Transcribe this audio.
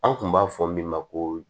An kun b'a fɔ min ma ko